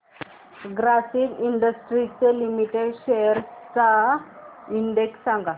Grasim industries limited shares चा index सांगा